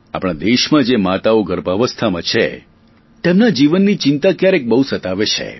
આપણા દેશમાં જે માતાઓ ગર્ભાવસ્થામાં છે તેમના જીવનની ચિંતા ક્યારેક બહુ સતાવે છે